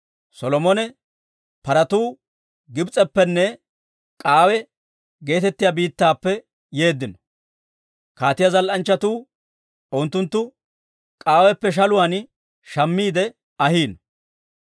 Solomone paratuu Gibs'eppenne K'aawe geetettiyaa biittappe yeeddino. Kaatiyaa zal"anchchatuu unttunttu K'aaweppe shaluwaan shammiide ahiino.